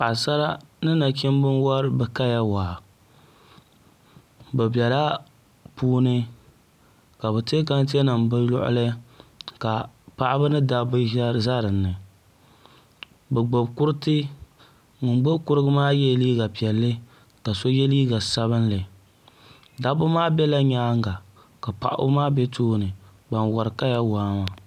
Paɣasara ni nachimbi n wori bi kaya waa bi biɛla puuni ka bi tiɛ tanti nim bi luɣuli ka paɣaba ni dabba ʒɛ dinni bi gbubi kuriti ŋun gbubi kurigu maa yɛla liiga piɛlli ka so yɛ liiga sabinli dabba maa biɛla nyaanga ka paɣaba maa bɛ tooni ban wori kaya waa maa